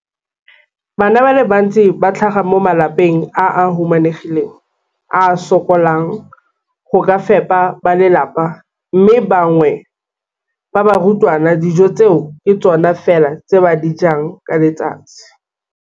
Bana ba le bantsi ba tlhaga mo malapeng a a humanegileng a a sokolang go ka fepa ba lelapa mme ba bangwe ba barutwana, dijo tseo ke tsona fela tse ba di jang ka letsatsi.